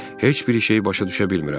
Heç bir şeyi başa düşə bilmirəm.